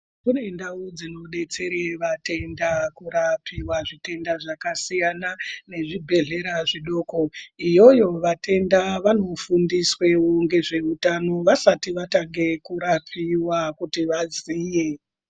Kune ndau dzinodetsere vatenda kurapiwa zvitenda zvakasiyana nezvibhedhlera zvidoko. Iyoyo vatenda vanotanga vafundiswa ngezveutano vasati varapiwa kuti vaziye.